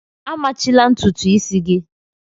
A machila ntutu isi gị!